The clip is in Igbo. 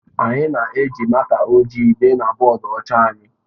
Anyị na-eji máká ojii dee na bọọdụ ọcha anyị.